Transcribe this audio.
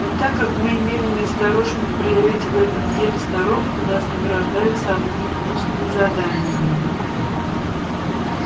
и так как мы имели неосторожно проявить в этом деле сноровку нас награждают самыми гнусными заданиями